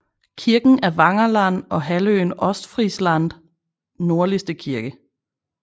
Kirken er Wangerland og halvøen Ostfrieslands nordligste kirke